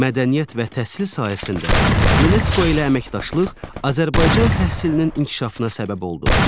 Mədəniyyət və təhsil sahəsində UNESCO ilə əməkdaşlıq Azərbaycan təhsilinin inkişafına səbəb oldu.